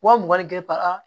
Wa mugan ni kelen para